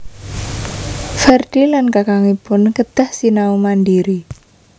Ferdi lan kakangipun kedah sinau mandiri